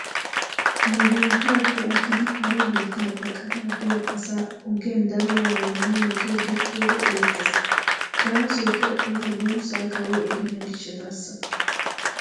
Nu biittaappe aggidi hara biitta baqataa biyaa asaa ogiyan daro waayeenne metoy gakkiyoogee erettes. Gaasoykka eta buussaa kawoy erenna gishshataasa.